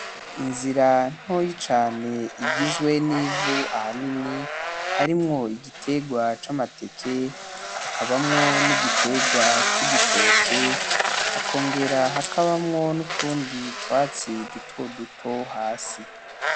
Inzira ntoyi cane igizwe n'ivu ahanini harimwo igiterwa c'amateke hakabamwo n'igiterwa c'igitoke hakongera hakabamwo N’utundi twatsi duto duto hasi.